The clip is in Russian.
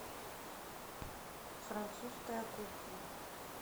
французская кухня